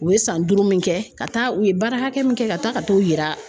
U ye san duuru min kɛ ka taa u ye baara hakɛ min kɛ ka taa ka t'o yira